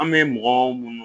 An bɛ mɔgɔw minnu